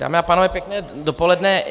Dámy a pánové, pěkné dopoledne.